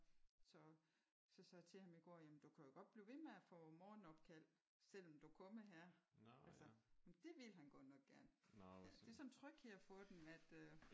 Så så sagde jeg til ham i går jamen du kan jo godt blive ved med at få morgenopkald selvom du er kommet her altså. Jamen det ville han godt nok gerne. Det er sådan en tryghed at få dem at øh